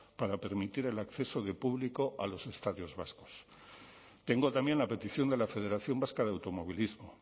para permitir el acceso de público a los estadios vascos tengo también la petición de la federación vasca de automovilismo